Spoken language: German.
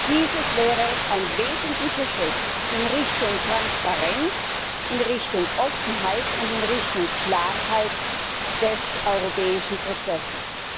Dieses wäre ein wesentlicher Schritt in Richtung Transparenz, in Richtung Offenheit und in Richtung Klarheit des europäischen Prozesses.